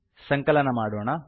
ಸಂಕಲನ ಮಾಡೋಣ